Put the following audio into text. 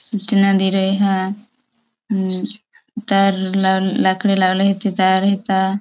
सूचना दे रहा है म तार लाकड़ी लाव ले हे तो तार हेता --